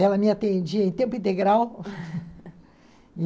Ela me atendia em tempo integral.